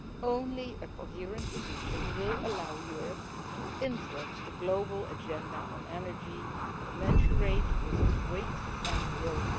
Only a coherent position will allow Europe to influence the global agenda on energy in a way commensurate with its weight and role.